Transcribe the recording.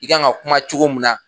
I kan ka kuma cogo mun na